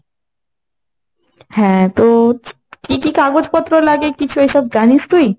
হ্যাঁ তো কি কি কাগজপত্র লাগে কিছু এসব জানিস তুই?